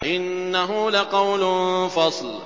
إِنَّهُ لَقَوْلٌ فَصْلٌ